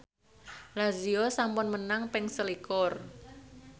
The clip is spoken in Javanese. Lazio sampun menang ping selikur